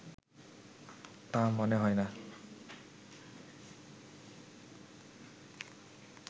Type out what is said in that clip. তা মনে হয় না